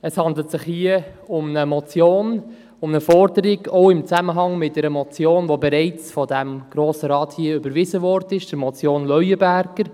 Es handelt sich hier um eine Motion, um eine Forderung, welche auch im Zusammenhang mit einer bereits von diesem Grossen Rat überwiesenen Motion steht, nämlich der Motion Leuenberger.